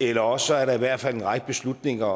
eller også er der i hvert fald en række beslutninger